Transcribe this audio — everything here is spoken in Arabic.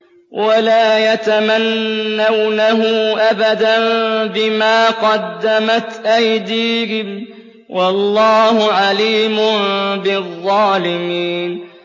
وَلَا يَتَمَنَّوْنَهُ أَبَدًا بِمَا قَدَّمَتْ أَيْدِيهِمْ ۚ وَاللَّهُ عَلِيمٌ بِالظَّالِمِينَ